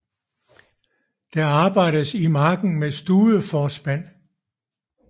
Der arbejdes i marken med studeforspand